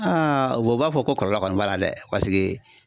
o b'a fɔ ko kɔlɔlɔ kɔni b'a la dɛ paseke